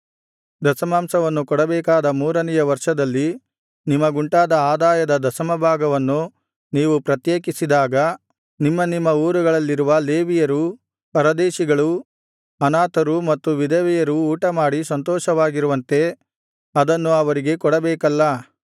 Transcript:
ದಶಮಾಂಶವನ್ನು ಕೊಡಬೇಕಾದ ಮೂರನೆಯ ವರ್ಷದಲ್ಲಿ ನಿಮಗುಂಟಾದ ಆದಾಯದ ದಶಮ ಭಾಗವನ್ನು ನೀವು ಪ್ರತ್ಯೇಕಿಸಿದಾಗ ನಿಮ್ಮ ನಿಮ್ಮ ಊರುಗಳಲ್ಲಿರುವ ಲೇವಿಯರೂ ಪರದೇಶಿಗಳೂ ಅನಾಥರು ಮತ್ತು ವಿಧವೆಯರೂ ಊಟಮಾಡಿ ಸಂತೋಷವಾಗಿರುವಂತೆ ಅದನ್ನು ಅವರಿಗೆ ಕೊಡಬೇಕಲ್ಲಾ